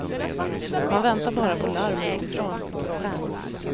Man väntar bara på larm utifrån.